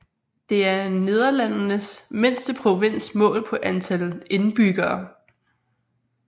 Det er Nederlandenes mindste provins målt på antal indbyggere